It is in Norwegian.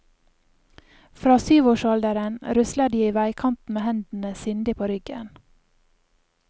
Fra syvårsalderen rusler de i veikanten med hendene sindig på ryggen.